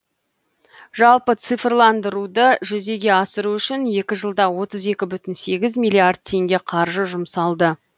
жалпы цифрландыруды жүзеге асыру үшін екі жылда отыз екі бүтін сегіз миллиард теңге қаржы жұмсалды